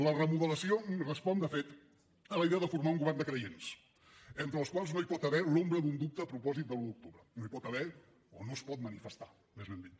la remodelació respon de fet a la idea de formar un govern de creients entre els quals no hi pot haver l’ombra d’un dubte a propòsit de l’un d’octubre no hi pot haver o no es pot manifestar més ben dit